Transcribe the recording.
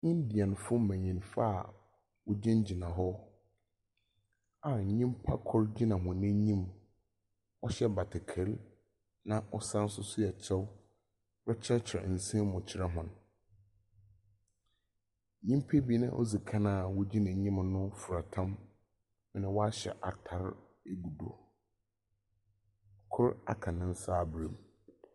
Indianfo mbenyinfo a wogyinagyina hɔ a nyimpa kor gyina hɔ enyim hyɛ batakari na ɔsane nso hyɛ kyɛw rekyerɛkyerɛ nsɛm mu kyerɛ hɔn. Nyimpa binom ɔdzi ka a wogyina enyim no fira tam, na wɔahyɛ atar egu do. Kor aka ne nsa abra mu.